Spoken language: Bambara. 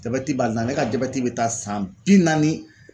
Jabɛti b'a la ale ka jabɛti bɛ taa san bi naani